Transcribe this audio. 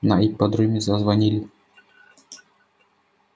на ипподроме зазвонили